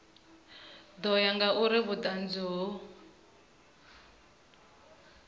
ḓo ya ngauri vhuṱanzi ho